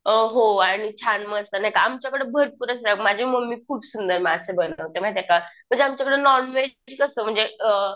अ हो आणि छान मस्त नाही का आमच्याकडं भरपूर माझी मम्मी खूप सुंदर मासे बनवते माहिती ये का? म्हणजे आमच्याकडे नॉनव्हेज म्हणजे कसं अ